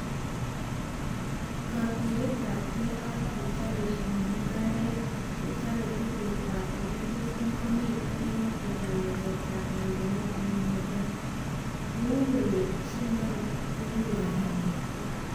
Katuyetabke ak chechobishani mugaret chechob tugukwai chekitesyi komitee eng keweketab nyorunet neimekee- kou kole shindonik koeku kibagengeishek